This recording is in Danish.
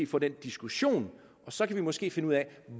få den diskussion og så kan vi måske finde ud af